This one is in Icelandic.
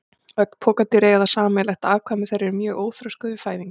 Öll pokadýr eiga það sameiginlegt að afkvæmi þeirra eru mjög óþroskuð við fæðingu.